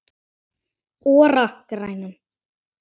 ORA grænar